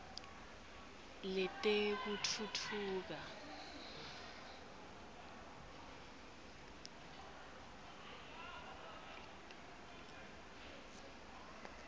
letekutfutfuka